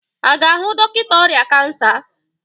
A ga-ahụ dọkịta ọrịa kansa?